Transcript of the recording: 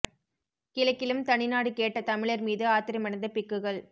கிழக்கிலும் தனிநாடு கேட்ட தமிழர் மீது ஆத்திரமடைந்த பிக்குகள்